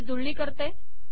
याची जुळणी करते